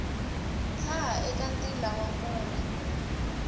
tshaha eka ntila wa mune